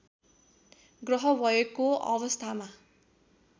ग्रह भएको अवस्थामा